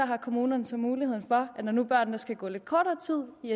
har kommunerne så mulighed for når nu børnene skal gå lidt kortere tid i